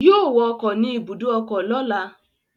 Yóò wọ ọkọ̀ ni ibùdó ọkọ lọ́la